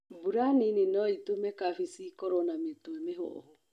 Mbura nini noĩtũme kabeci ĩkorwo na mĩtwe mĩhomu.